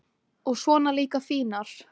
og svona líka fínar.